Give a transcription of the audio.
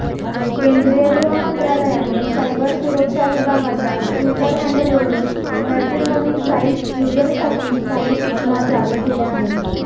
केंद्रीय गृहमंत्रालयाने सायबर सुरक्षा विभागाच्या ट्विटर हँडलवरुन मॅट्रिमनी साइट युझर्ससाठी काही सूचना जारी केल्या आहेत